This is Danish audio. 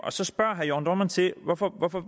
så spørger herre jørn dohrmann til hvorfor hvorfor